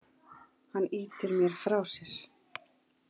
Hann ýtir mér frá sér.